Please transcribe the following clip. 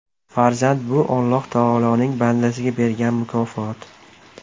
Farzand bu Olloh Taoloning bandasiga bergan mukofot.